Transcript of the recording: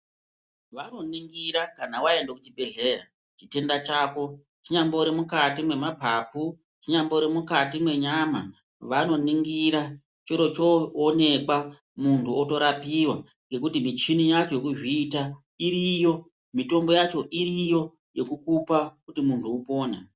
Vanoningira kana waende kuchibhedhleya, chitenda chako, chinyambori mumaphaphu, chinyambori mukati mwenyama, vanoningira choro choonekwa muntu otorapiwa nekuti muchini wacho wokuzviita iroyo mutombo yacho iroyo kuti muntu upon.